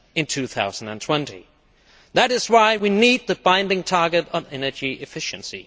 2020. That is why we need the binding target on energy efficiency.